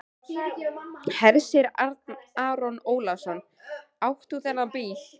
Hersir Aron Ólafsson: Átt þú þennan bíl?